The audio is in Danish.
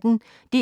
DR P1